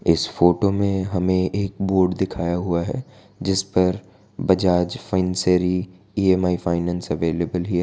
इस फोटो में हमें एक बोर्ड दिखाया हुआ है। जिस पर Bajaj Finserv E M I finance available here --